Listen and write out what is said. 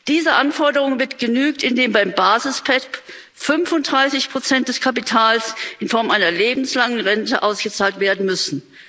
Dieser Anforderung wird genügt, indem beim Basis PEPP 35 des Kapitals in Form einer lebenslangen Rente ausgezahlt werden müssen.